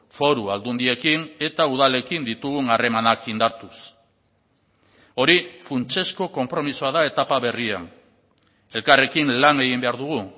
foru aldundiekin eta udalekin ditugun harremanak indartuz hori funtsezko konpromisoa da etapa berrian elkarrekin lan egin behar dugu